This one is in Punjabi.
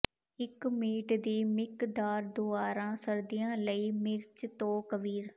ਇਕ ਮੀਟ ਦੀ ਮਿਕਦਾਰ ਦੁਆਰਾ ਸਰਦੀਆਂ ਲਈ ਮਿਰਚ ਤੋਂ ਕਵੀਰ